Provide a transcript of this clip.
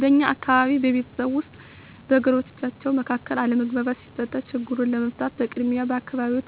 በእኛ አካባቢ በቤተሰብ ወይም በጎረቤቶች መካከል አለመግባባት ሲፈጠር ችግሩን ለመፍታት በቅድሚያ በአካባቢው